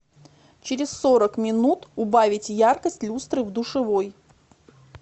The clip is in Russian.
через сорок минут убавить яркость люстры в душевой